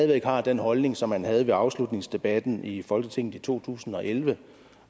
væk har den holdning som han havde i afslutningsdebatten i folketinget i to tusind og elleve